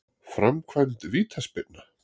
Framkvæmd vítaspyrna?